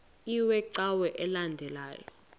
iwe cawa elandela